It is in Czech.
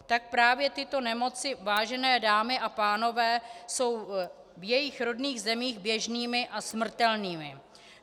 Tak právě tyto nemoci, vážené dámy a pánové, jsou v jejich rodných zemích běžnými a smrtelnými.